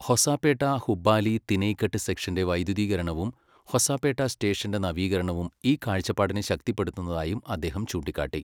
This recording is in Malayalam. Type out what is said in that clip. ഹൊസാപേട്ട ഹുബ്ബാലി തിനൈഘട്ട് സെക്ഷന്റെ വൈദ്യുതീകരണവും ഹൊസപേട്ട സ്റ്റേഷന്റെ നവീകരണവും ഈ കാഴ്ചപ്പാടിനെ ശക്തിപ്പെടുത്തുന്നതായും അദ്ദേഹം ചൂണ്ടിക്കാട്ടി.